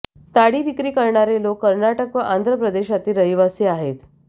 ताडी विक्री करणारे लोक कर्नाटक व आंध्र प्रदेशातील रहिवासी आहेत